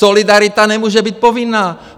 Solidarita nemůže být povinná!